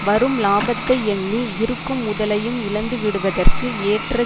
வரும் லாபத்தை எண்ணி இருக்கும் முதலையும் இழந்துவிடுவதற்கு ஏற்ற